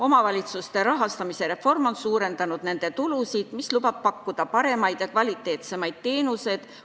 Omavalitsuste rahastamise reform on suurendanud nende tulusid, mis lubab pakkuda paremaid teenuseid.